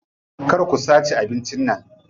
Kar ku sace abincin nan.